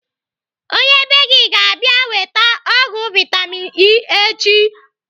Onye bee gị ga - abịa weta ọgwụ vitamin E echi.